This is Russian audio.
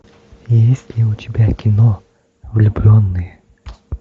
есть ли у тебя кино влюбленные